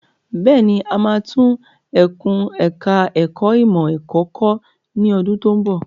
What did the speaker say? Bẹ́ẹ̀ni, a máa tún ẹkùn ẹ̀ka ẹ̀kó ìmọ̀ ẹ̀kọ́ kọ́ ní ọdún tí ń bọ̀.